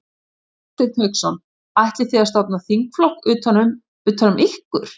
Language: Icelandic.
Hafsteinn Hauksson: Ætlið þið að stofna þingflokk utan um, utan um ykkur?